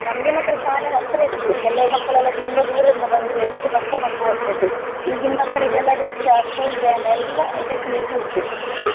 ನಮ್ಗೆ ಮಾತ್ರ ಶಾಲೆ ಹತ್ರ ಇತ್ತು ಕೆಲವು ಮಕ್ಕಳೆಲ್ಲ ತುಂಬ ದೂರದದಿಂದ ಬಂದು ಎಷ್ಟು ಕಷ್ಟ ಪಟ್ಟು ಓದ್ತ್ತಾಯಿದ್ರು. ಈಗಿನ್ ಮಕ್ಕಳಿಗೆಲ್ಲ rickshaw, school van ಎಲ್ಲಾ facility ಉಂಟು.